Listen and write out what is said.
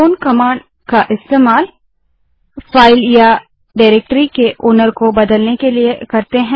चौन command का इस्तेमाल file या डारेक्टरी के मालिक को बदलने के लिए करते हैं